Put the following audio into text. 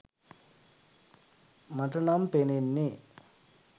මට නම් පෙනෙන්නේ.